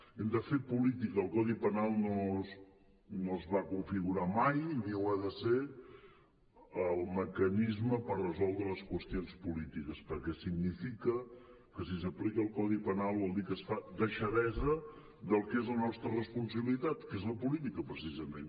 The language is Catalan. hem de fer política el codi penal no es va configurar mai ni ha de ser el mecanisme per resoldre les qüestions polítiques perquè significa que si s’aplica el codi penal vol dir que es fa deixadesa del que és la nostra responsabilitat que és la política precisament